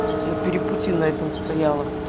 на перепутье этом стояла